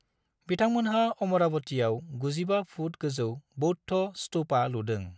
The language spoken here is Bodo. बिथांमोनहा अमरावतियाव 95 फुट गोजौ बौद्ध स्तुपा लुदों।